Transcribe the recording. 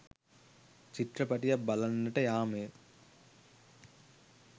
චිත්‍රපටියක් බලන්නට යාමය.